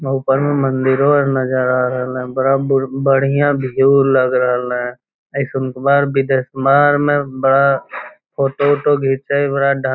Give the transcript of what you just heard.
ओ ऊपर मै मंदिरो नज़र आ रहल है बड़ा बढ़िया व्यू लग रहलै हें बार फोटो उटो घिच्चे --